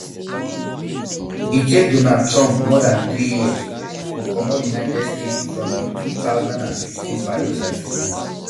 e take donald trump more dan three years to comot united states from di two thousand and fifteen paris agreement